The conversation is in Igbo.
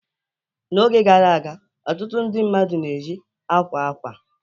N'oge gara aga, ọtụtụ ndị mmadụ na-eji akwa akwa